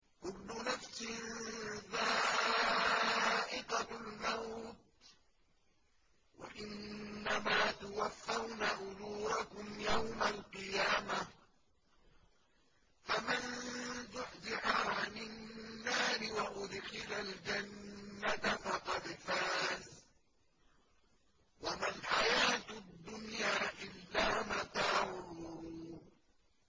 كُلُّ نَفْسٍ ذَائِقَةُ الْمَوْتِ ۗ وَإِنَّمَا تُوَفَّوْنَ أُجُورَكُمْ يَوْمَ الْقِيَامَةِ ۖ فَمَن زُحْزِحَ عَنِ النَّارِ وَأُدْخِلَ الْجَنَّةَ فَقَدْ فَازَ ۗ وَمَا الْحَيَاةُ الدُّنْيَا إِلَّا مَتَاعُ الْغُرُورِ